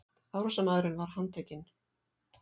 Árásarmaðurinn var handtekinn